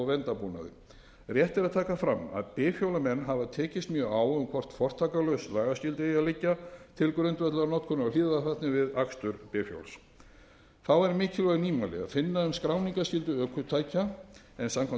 verndarbúnaði rétt er að taka fram að bifhjólamenn hafa tekist mjög á um hvort fortakslaus lagaskylda eigi að liggja til grundvallar notkun á hlífðarfatnaði við akstur bifhjóls þá er mikilvæg nýmæli að finna um skráningarskyldu ökutækja en samkvæmt